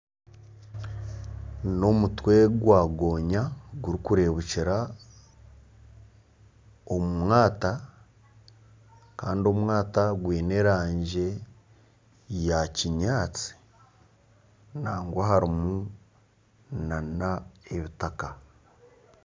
N'omutwe gwa gooya gurikureebukira omu mwata kandi omwata gwine erangi ya kinyatsi nagwa harimu nana ebitaka